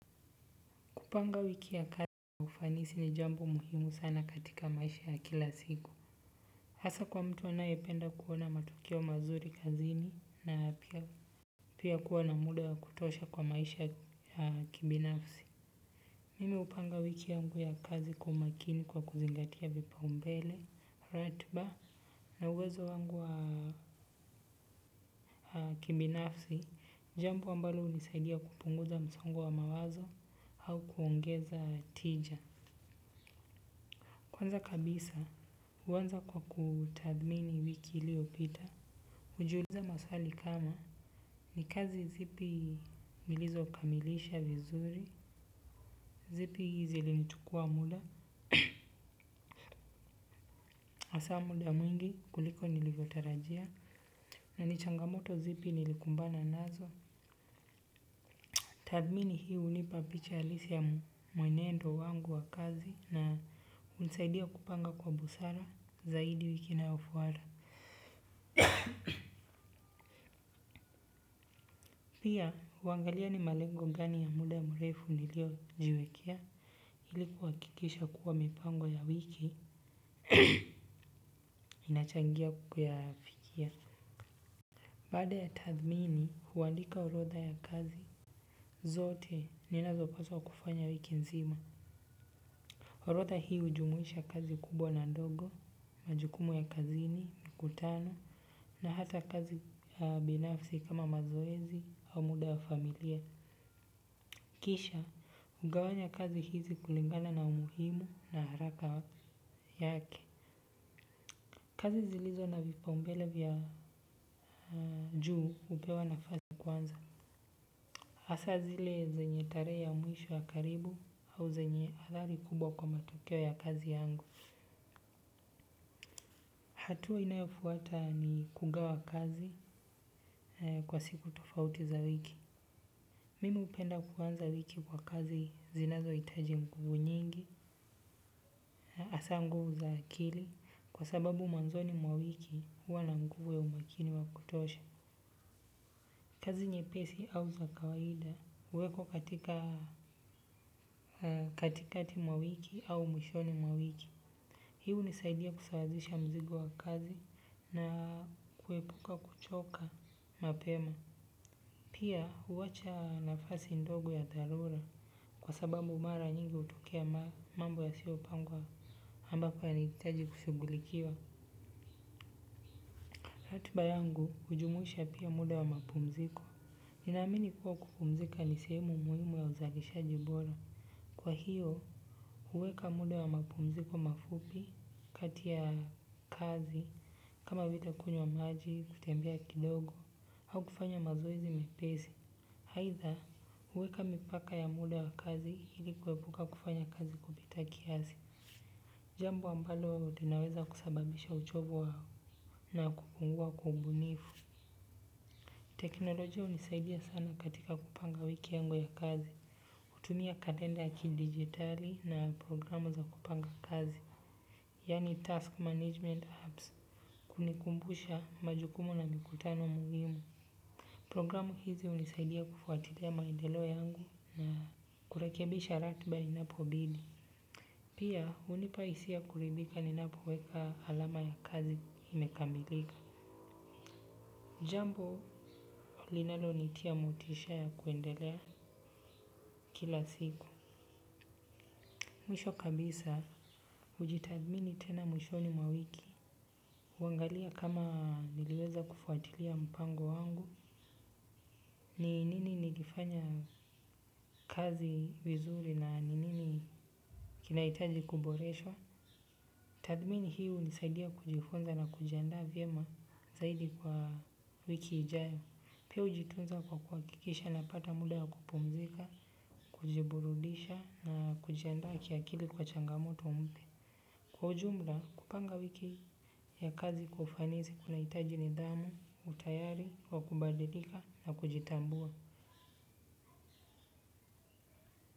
Kupanga wiki ya kazi kwa ufanisi ni jambo muhimu sana katika maisha ya kila siku. Hasa kwa mtu anayependa kuona matokeo mazuri kazini na pia kuwa na muda ya kutosha kwa maisha ya kibinafsi. Mimi hupanga wiki yangu ya kazi kwa makini kwa kuzingatia vipaumbele, ratiba na uwezo wangu wa kibinafsi jambo ambalo hunisaidia kupunguza msongo wa mawazo au kuongeza tija. Kwanza kabisa huanza kwa kutadhimini wiki iliopita. Ujiuliza maswali kama ni kazi zipi nilizo kamilisha vizuri, zipi zilinichukua muda, hasa muda mwingi kuliko nilivyo tarajia na ni changamoto zipi nilikumbana nazo. Tadhimini hii hunipa picha halisi ya mwenendo wangu wa kazi na hunisaidia kupanga kwa busara zaidi wiki inayofuata. Pia huangalia ni malengo gani ya muda mrefu niliyo jiwekea ili kuhakikisha kuwa mipango ya wiki inachangia kuyafikia. Baada ya tathmini huandika orodha ya kazi. Zote ninazo paswa kufanya wiki nzima. Orodha hii hujumuisha kazi kubwa na ndogo. Majukumu ya kazini, mkutano na hata kazi ya binafsi kama mazoezi au muda wa familia kisha hugawanya kazi hizi kulingana na umuhimu na haraka yake. Kazi zilizo na vipaumbele vya juu hupewa nafasi kwanza hasa zile zenye tarehe ya mwisho ya karibu au zenye athari kubwa kwa matokeo ya kazi yangu. Hatua inayofuata ni kugawa kazi kwa siku tofauti za wiki. Mimi hupenda kuanza wiki kwa kazi zinazohitaji nguvu nyingi, hasa nguvu za akili kwa sababu mwanzoni mwa wiki huwa na nguvu ya umakini wa kutosha. Kazi nyepesi au za kawaida huwekwa katikati mwa wiki au mwishoni mwa wiki. Hii hunisaidia kusawazisha mzigo wa kazi na kuepuka kuchoka mapema. Pia huacha nafasi ndogo ya dharura kwa sababu mara nyingi hutokea mambo yasiyo pangwa ambapo yanahitaji kushughulikiwa. Ratiba yangu hujumusha pia muda wa mapumziko. Ninaamini kuwa kupumzika ni sehemu muhimu ya uzalishaji bora. Kwa hiyo huweka muda wa mapumziko mafupi kati ya kazi kama vile kunywa maji kutembea kidogo. Au kufanya mazoezi mepesi. Haidha, huweka mipaka ya muda wa kazi ili kuepuka kufanya kazi kupita kiasi. Jambo ambalo linaweza kusababisha uchovu na kupungua kwa ubunifu. Teknolojia hunisaidia sana katika kupanga wiki yangu ya kazi hutumia kalenda ya kidigitali na programu za kupanga kazi. Yaani task management apps kunikumbusha majukumu na mikutano muhimu. Programu hizi hunisaidia kufuatilia maendeleo yangu na kurekebisha ratiba inapobidi. Pia hunipa hisia kuridhika ninapoweka alama ya kazi imekamilika. Jambo linalonitia motisha ya kuendelea kila siku. Mwisho kabisa hujitathimini tena mwishoni mwa wiki. Kuangalia kama niliweza kufuatilia mpango wangu ni nini nilifanya kazi vizuri na nini kinahitaji kuboreshwa. Tathimini hii hunisaidia kujifunza na kujianda vyema zaidi kwa wiki ijayo. Pia hujitunza kwa kuhakikisha napata muda ya kupumzika, kujiburudisha na kujiandaa kiakili kwa changamoto mpya. Kwa ujumla kupanga wiki ya kazi kwa ufanisi kunahitaji nidhamu utayari wa kubadilika na kujitambua.